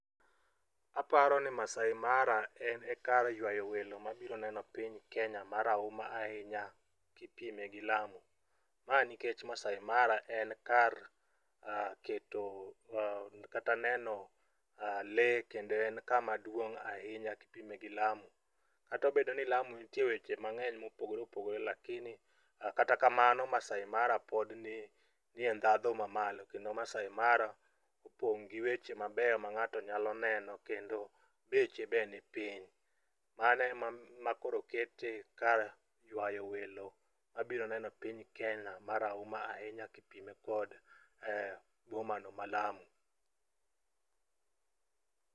Aparo ni maasai mara en e kar yuayo welo mabiro neno piny Kenya marahuma ahinya kipime gi lamu. Mani nikech maasai mara en kar keto kata neno lee kendo en kama duong' ahinya kipime gi lamu. Katobedo ni lamu nitie weche mang'eny mopogore opogore kata kamano maasai mara pod nie ndhadhu mamalo kendo maasai mara opong' gi weche mabeyo mang'ato nyalo neno kendo beche be ni piny. Mano ema koro kete kar yuayo welo mabiro neno piny Kenya marahuma ahinya kipime kod bomano ma lamu.